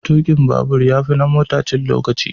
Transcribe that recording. Tukin babur ya fi na mota cin lokaci.